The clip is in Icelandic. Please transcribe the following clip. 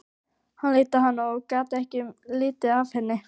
Hann leit á hana og gat ekki litið af henni.